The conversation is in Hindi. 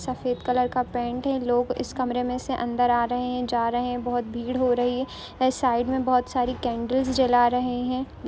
सफेद कलर का पेंट है लोग इस कमरे में से अंदर आ रहे हैं जा रहे हैं भीड़ हो रही है। यहाँ साइड में बहुत सारी कैन्डिल्स जला रहे हैं।